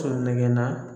Nɛgɛnna